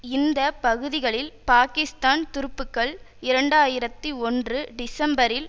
இந்த பகுதிகளில் பாகிஸ்தான் துருப்புக்கள் இரண்டு ஆயிரத்தி ஒன்று டிசம்பரில்